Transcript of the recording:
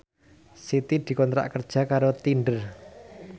Siti dikontrak kerja karo Tinder